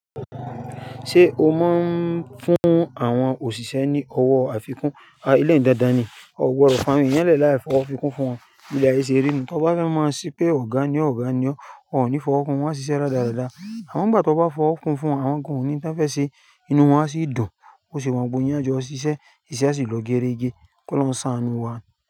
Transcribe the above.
Ṣé o máa ń fún àwọn òṣìṣẹ́ ní owó àfikún? Eléyìí dandan ni, ọ gbọdọ̀ fàwọn èèyàn lẹ̀ láì fọwọ́ fikún fún wọn, bí ilé ayé ṣe rí nùu. Tọ bá fẹ́ ma se pé ọ̀gá ni ọ́ ọ̀gá ni ọ́, wọ́n ò ní fọwọ́ kun, wọ́n á ṣiṣẹ́ rádaràda. Àmọ́ ńgbà tọ bá fọwọ́ kun fún wọn àwọn gan ò níhun tọ́n fẹ́ ṣẹ, inú wọn á sì dùn, bó se wù wọ́n gbogbo yín á jọ ṣiṣẹ́, iṣẹ́ á sì lọ gérégé. Kọ́lọ́hun ó sàánú wa.